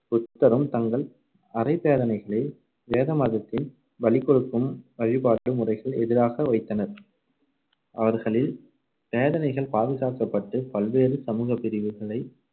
புத்தரும் தங்கள் அறை~ போதனைகளை வேத மதத்தின் பலிகொடுக்கும் வழிபாட்டு முறைகள் எதிராக வைத்தனர். அவர்களின் பேதனைகள் பாதுகாக்கப்பட்டு, பல்வேறு சமூகப் பிரிவுகளைச்